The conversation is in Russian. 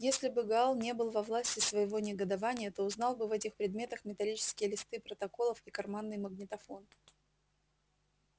если бы гаал не был во власти своего негодования то узнал бы в этих предметах металлические листы протоколов и карманный магнитофон